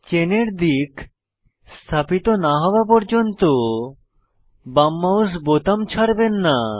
চেনের দিক স্থাপিত না হওয়া পর্যন্ত বাম মাউস বোতাম ছাড়বেন না